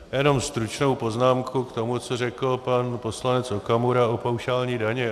Jenom stručnou poznámku k tomu, co řekl pan poslanec Okamura o paušální dani.